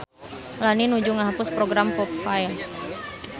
Lani nuju ngahapus program popfile